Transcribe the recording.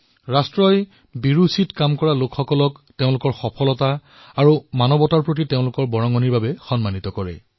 দেশে অসাধাৰণ কাৰ্যৰত লোকক তেওঁলোকৰ সিদ্ধি আৰু মানৱতাৰ প্ৰতি তেওঁলোকৰ অৱদানৰ বাবে সন্মানিত কৰে